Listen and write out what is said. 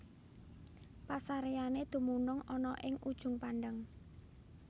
Pasaréyané dumunung ana ing Ujung Pandang